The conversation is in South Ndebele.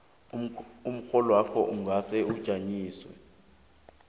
umrholwakho ungahle ujanyiswe